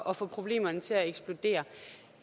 at få problemerne til at eksplodere